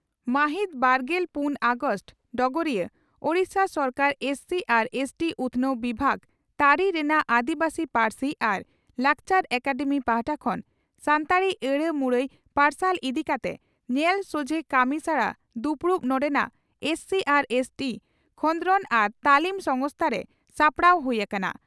ᱢᱟᱹᱦᱤᱛ ᱵᱟᱨᱜᱮᱞ ᱯᱩᱱ ᱚᱜᱟᱥᱴ (ᱰᱚᱜᱚᱨᱤᱭᱟᱹ) ᱺ ᱳᱰᱤᱥᱟ ᱥᱚᱨᱠᱟᱨ ᱮᱥᱹᱥᱤᱹ ᱟᱨ ᱮᱥᱹᱴᱤᱹ ᱩᱛᱷᱱᱟᱹᱣ ᱵᱤᱵᱷᱟᱜᱽ ᱛᱟᱹᱨᱤ ᱨᱮᱱᱟᱜ ᱟᱹᱫᱤᱵᱟᱹᱥᱤ ᱯᱟᱹᱨᱥᱤ ᱟᱨ ᱞᱟᱠᱪᱟᱨ ᱮᱠᱟᱰᱮᱢᱤ ᱯᱟᱦᱴᱟ ᱠᱷᱚᱱ ᱥᱟᱱᱛᱟᱲᱤ ᱟᱹᱲᱟᱹ ᱢᱩᱨᱟᱹᱭ ᱯᱟᱨᱥᱟᱞ ᱤᱫᱤ ᱠᱟᱛᱮ ᱧᱮᱞ ᱥᱚᱡᱷᱮ ᱠᱟᱹᱢᱤᱥᱟᱲᱟ ᱫᱩᱯᱲᱩᱵ ᱱᱚᱰᱮᱱᱟᱜ ᱮᱥᱹᱥᱤᱹ ᱟᱨ ᱮᱥᱹᱴᱤᱹ ᱠᱷᱚᱫᱽᱨᱚᱫᱽ ᱟᱨ ᱛᱟᱹᱞᱤᱢ ᱥᱚᱝᱥᱛᱷᱟᱨᱮ ᱥᱟᱯᱲᱟᱣ ᱦᱩᱭ ᱟᱠᱟᱱᱟ ᱾